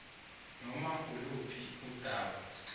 noma iluphi undaba